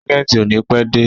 Ságẹ̀ntì ò ní pẹ́ dé.